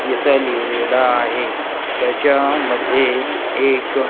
असं लिहिलेलं आहे. त्याच्यामध्ये एक--